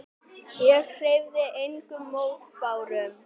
Ég hreyfði engum mótbárum.